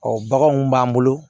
baganw b'an bolo